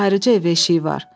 Ayrıca evə eşiyi var.